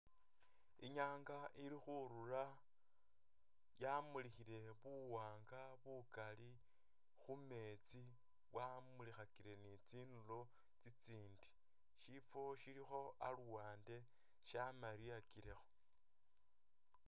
Inyanga ili khurula yamulikhile buwanga bukali khumeetsi bwamulikhakile ni tsinduro tsi tsindi shifo shilikho aluwande shamaliyakilekho.